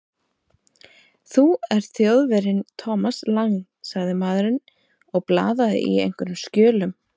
Þú ert Þjóðverjinn Thomas Lang sagði maðurinn og blaðaði í einhverjum skjölum.